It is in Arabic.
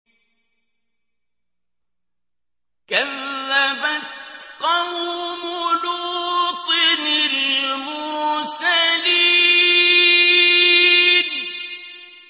كَذَّبَتْ قَوْمُ لُوطٍ الْمُرْسَلِينَ